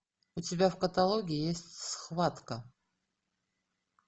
у тебя в каталоге есть схватка